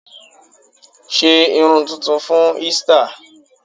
Sé irun tuntun fún Easter!